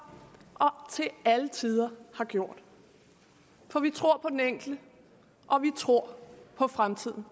til alle tider for vi tror på den enkelte og vi tror på fremtiden